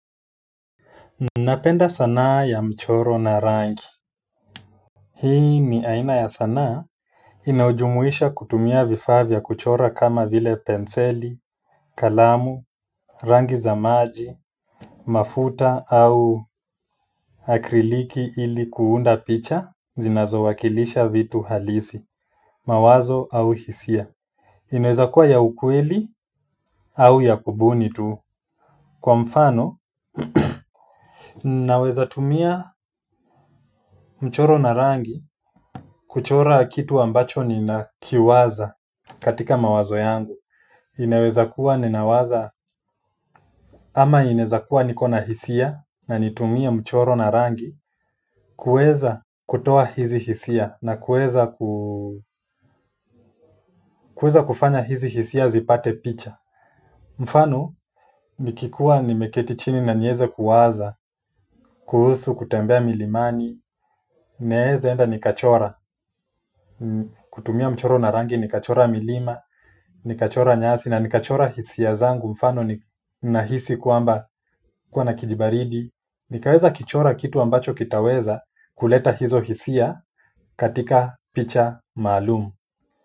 Napenda sanaa ya mchoro na rangi hii ni aina ya sanaa inayojumuisha kutumia vifaa vya kuchora kama vile penseli, kalamu, rangi za maji mafuta au akriliki ili kuunda picha zinazowakilisha vitu halisi, mawazo au hisia inaweza kuwa ya ukweli au ya kubuni tu kwa mfano naweza tumia mchoro na rangi kuchora kitu ambacho nina kiwaza katika mawazo yangu inaweza kuwa ninawaza ama ineza kuwa nikona hisia na nitumie mchoro na rangi kuweza kutoa hizi hisia na kuweza kuu kuweza kufanya hizi hisia zipate picha mfano nikikuwa nimeketi chini na nieze kuwaza kuhusu kutembea milimani naeza enda nikachora kutumia mchoro na rangi nikachora milima nikachora nyasi na nikachora hisia zangu mfano ni nahisi kwamba kuwa na kijibaridi nikaeza kichora kitu ambacho kitaweza kuleta hizo hisia katika picha maalum.